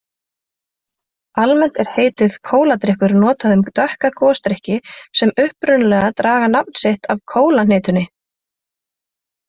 Almennt er heitið kóladrykkir notað um dökka gosdrykki sem upprunalega draga nafn sitt af kólahnetunni.